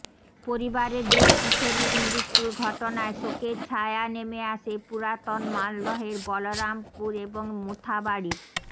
পরিবারের দুই কিশোরীর মৃত্যুর ঘটনায় শোকের ছায়া নেমে আসে পুরাতন মালদহের বলরামপুর এবং মোথাবাড়ির